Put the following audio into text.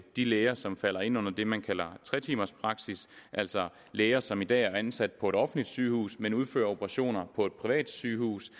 de læger som falder ind under det man kalder tre timers praksis altså læger som i dag er ansat på et offentligt sygehus men udfører operationer på et privat sygehus